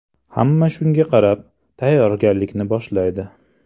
Hamma shunga qarab, tayyorgarlikni boshlaydi.